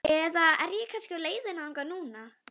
Eða er ég kannski á leiðinni þangað núna?